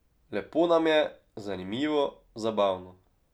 Lepo nam je, zanimivo, zabavno.